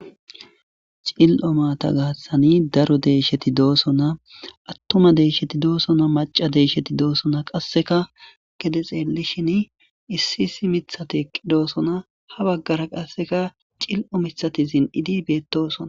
Cilii'o matta gaththani daro deeshsheti dosoona attumma deeshsheti doosona macca deeshsheti doosona qasseka gede xeellishin issi issi miththati eqqi doosona ha baggara qassekka cilii'o miiththati zin'idi beettosona